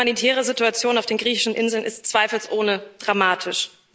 Die humanitäre Situation auf den griechischen Inseln ist zweifelsohne dramatisch.